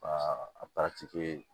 a